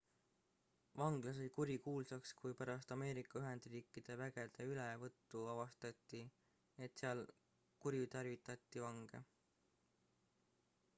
vangla sai kurikuulsaks kui pärast ameerika ühendriikide vägede ülevõttu avastati et seal kuritarvitati vange